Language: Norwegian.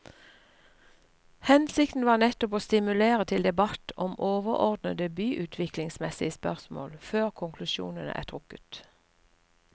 Hensikten var nettopp å stimulere til debatt om overordnede byutviklingsmessige spørsmål før konklusjonene er trukket.